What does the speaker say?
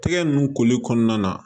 Tɛgɛ ninnu koli kɔnɔna na